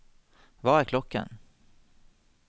hva er klokken